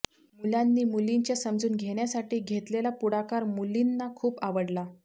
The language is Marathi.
मुलांनी मुलींच्या समजून घेण्यासाठी घेतलेला पुढाकार मुलींना खूप आवडला